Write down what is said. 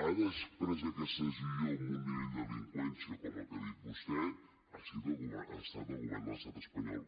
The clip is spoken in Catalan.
ha pres aquesta decisió amb un nivell de delinqüència com el que ha dit vostè ha estat el govern de l’estat espanyol